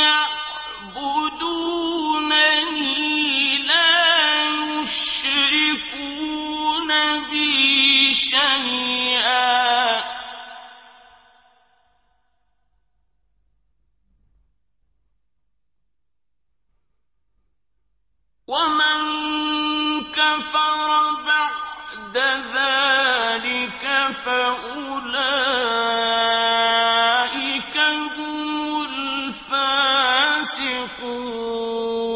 يَعْبُدُونَنِي لَا يُشْرِكُونَ بِي شَيْئًا ۚ وَمَن كَفَرَ بَعْدَ ذَٰلِكَ فَأُولَٰئِكَ هُمُ الْفَاسِقُونَ